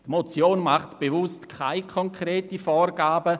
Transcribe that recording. Die Motion macht bewusst keine konkreten Vorgaben.